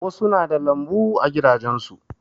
Wasu na da lambu a gidajen su.